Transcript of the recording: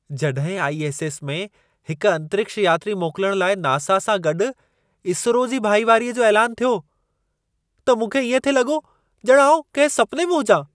जॾहिं आई.एस.एस. में हिक अंतरिक्ष यात्री मोकिलण लाइ नासा सां गॾु इसरो जी भाईवारीअ जो ऐलानु थियो, त मूंखे इएं थिए लॻो ॼणु आउं कंहिं सुपने में हुजां।